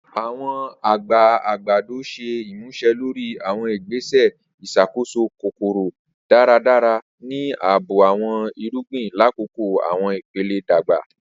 Awọn agbe agbado ṣe imuse lori awọn igbese iṣakoso kokoro daradara ni aabo awọn irugbin lakoko awọn ipele dagba.